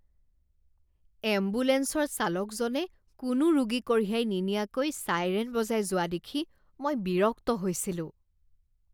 এম্বুলেঞ্চৰ চালকজনে কোনো ৰোগী কঢ়িয়াই নিনিয়াকৈ ছাইৰেন বজাই যোৱা দেখি মই বিৰক্ত হৈছিলোঁ।